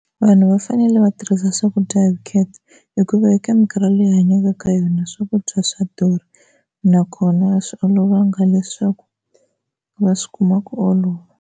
Vanhu va fanele va tirhisa swakudya hi vukheta hikuva eka minkarhi leyi hi hanyaka ka yona swakudya swa durha nakona a swi olovanga leswaku va swi kuma ku olova.